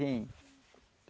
Vinha.